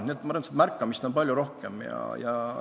Arvan, et sääraste asjade märkamist on palju rohkem.